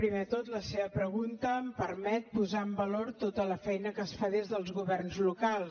primer de tot la seva pregunta em permet posar en valor tota la feina que es fa des dels governs locals